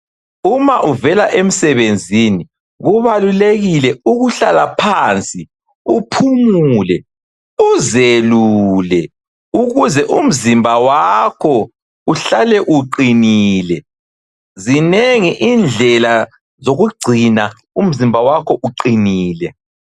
Uma uvela emsebenzini kubalulekile ukuhlala phansi, uphumule, uzelule ukuze umzimba wakho uhlale uqinile. Zinengi indlela zokugcina umzimba wakho uqinile.